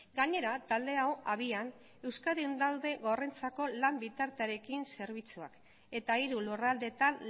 gainera talde hau abian euskadin daude gorrentzako lan bitartearekin zerbitzuak eta hiru lurraldeetan